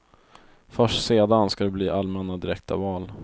Först sedan ska det bli allmänna direkta val.